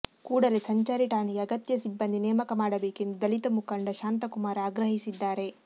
ಕೂಡಲೇ ಸಂಚಾರಿ ಠಾಣೆಗೆ ಅಗತ್ಯ ಸಿಬ್ಬಂದಿ ನೇಮಕ ಮಾಡಬೇಕೆಂದು ದಲಿತ ಮುಖಂಡ ಶಾಂತಕುಮಾರ ಆಗ್ರಹಿಸಿದ್ದಾರೆ